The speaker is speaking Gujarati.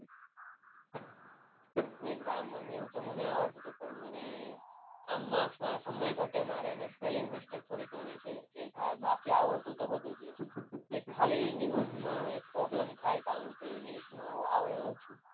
નહીં ગ્રામર ને એવું તો મને આવડતું હતું પણ મને આ marks માં સમય ઘટે મારે અને spelling mistake ઘણી છે. એ થાય બાકી આવડતું તો બધું જ હોય. એ ખાલી નિબંધ માં પ્રોબ્લેમ થાય કારણકે ઇંગ્લિશમાં આવડે ઓછું.